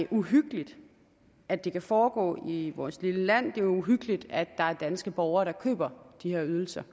uhyggeligt at det kan foregå i vores lille land det er uhyggeligt at der er danske borgere der køber de her ydelser